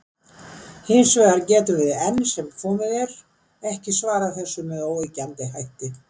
Hins vegar getum við enn sem komið er ekki svarað þessu með óyggjandi hætti.